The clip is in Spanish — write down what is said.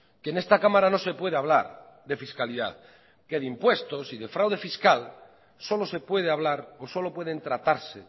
que en esta cámara no se puede hablar de fiscalidad que de impuestos y de fraude fiscal solo se puede hablar o solo pueden tratarse